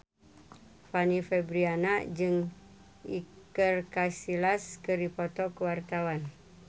Fanny Fabriana jeung Iker Casillas keur dipoto ku wartawan